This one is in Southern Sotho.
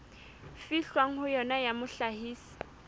fihlwang ho yona ya mohlahisi